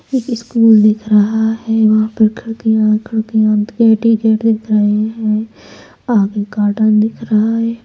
एक स्कूल दिख रहा है वहां पर खिड़कियां खिड़कियां गेट ही गेट दिख रहे हैं आगे गार्डन दिख रहा है।